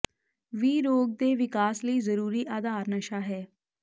ਵੀ ਰੋਗ ਦੇ ਵਿਕਾਸ ਲਈ ਜ਼ਰੂਰੀ ਆਧਾਰ ਨਸ਼ਾ ਹੈ